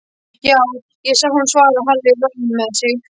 Já, ég sá hann svaraði Halli rogginn með sig.